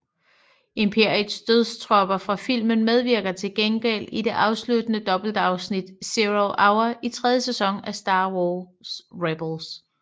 Imperiets dødstropper fra filmen medvirker til gengæld i det afsluttende dobbeltafsnit Zero Hour i tredje sæson af Star Wars Rebels